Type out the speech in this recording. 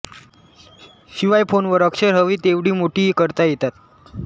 शिवाय फोनवर अक्षरं हवी तेवढी मोठी करता येतात